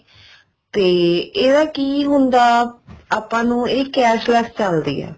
ਤੇ ਇਹਦਾ ਕੀ ਹੁੰਦਾ ਆਪਾਂ ਨੂੰ ਇਹ cashless ਚੱਲਦੀ ਹੈ